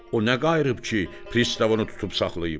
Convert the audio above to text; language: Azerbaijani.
O nə qayıb ki, pristav onu tutub saxlayıb?